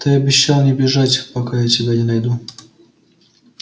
ты обещал не бежать пока я тебя не найду